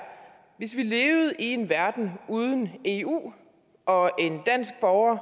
hvis vi levede i en verden uden eu og en dansk borger